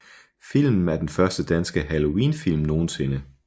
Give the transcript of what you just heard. Filmen er den første danske halloween film nogensinde